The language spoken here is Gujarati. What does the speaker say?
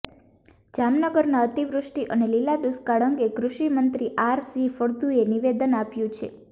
જામનગરમાં અતિવૃષ્ટિ અને લીલા દુષ્કાળ અંગે કૃષિ મંત્રી આર સી ફળદુએ નિવદેન આપ્યું છે